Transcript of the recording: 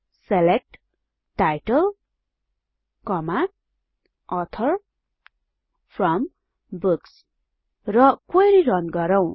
select title author from books र query run गरौँ